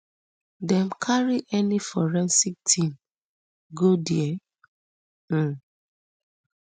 dem carry any forensic team go dia um